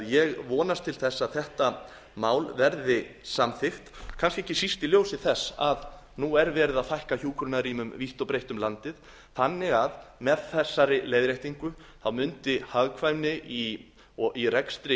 ég vonast því til þess að þetta mál verði samþykkt kannski ekki síst í ljósi þess að nú er verið að fækka hjúkrunarrýmum vítt og breitt um landið þannig að með þessari leiðréttingu mundi hagkvæmni í rekstri